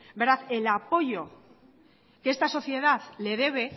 el apoyo que esta sociedad le debe